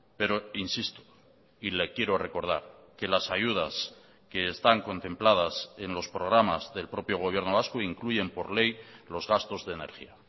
pero insisto y le quiero recordar que las ayudas que están contempladas en los programas del propio gobierno vasco incluyen por ley los gastos de energía